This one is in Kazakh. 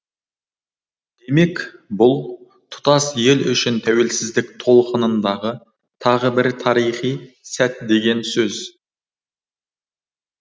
демек бұл тұтас ел үшін тәуелсіздік толқынындағы тағы бір тарихи сәт деген сөз